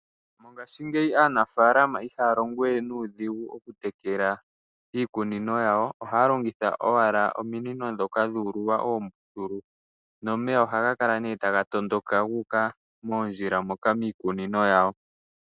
Mongashingeyi aanafaalama ihaya longowe nuudhigu okutekela iikunino. Ohaya longitha owala ominino ndhoka dhu ululwa oombululu nomeya ohaga tondoka gu uka moondjila moka gu uka miikununo yawo.